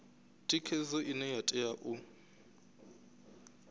thikhedzo ine ya tea u